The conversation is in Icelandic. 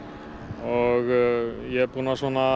og ég er búinn að